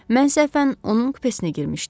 Mən səhvən onun kupesinə girmişdim.